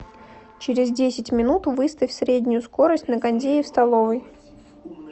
через десять минут выставь среднюю скорость на кондее в столовой